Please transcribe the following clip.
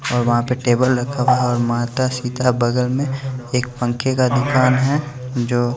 वहाँ पे टेबल रखा हुआ है और माता सीता बगल में एक पंखे का दुकान है जो--